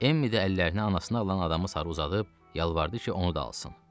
Emmi də əllərini anasını alan adamı sarı uzadıb yalvardı ki, onu da alsın.